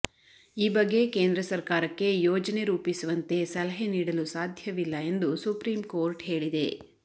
ಈ ಬಗ್ಗೆ ಕೇಂದ್ರ ಸರ್ಕಾರಕ್ಕೆ ಯೋಜನೆ ರೂಪಿಸುವಂತೆ ಸಲಹೆ ನೀಡಲು ಸಾಧ್ಯವಿಲ್ಲ ಎಂದು ಸುಪ್ರೀಂ ಕೋರ್ಟ್ ಹೇಳಿದೆ